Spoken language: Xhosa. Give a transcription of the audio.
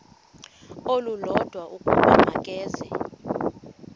olulodwa ukuba makeze